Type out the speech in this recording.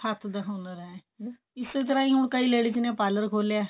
ਹੱਥ ਦਾ ਹੁਨਰ ਐ ਇਸੇ ਤਰ੍ਹਾਂ ਹੀ ਹੁਣ ਕਈ ladies ਨੇ parlor ਖੋਲਿਆ